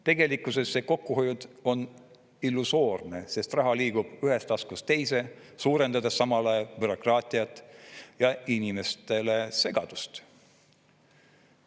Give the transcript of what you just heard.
Tegelikkusesse on see kokkuhoiud illusoorne, sest raha liigub ühest taskust teise, suurendades samal ajal bürokraatiat ja inimeste segadust.